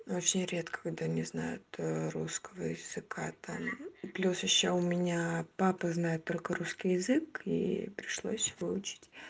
очень редко когда не знают русского языка там плюс ещё у меня папа знает только русский язык и пришлось его учить